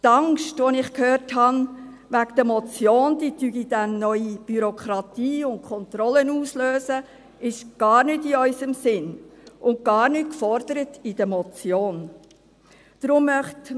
Zur Angst, von der ich gehört habe, wonach die Motion dann neue Bürokratie und Kontrollen auslöse: Dies ist gar nicht in unserem Sinn, und dies wird in der Motion gar nicht gefordert.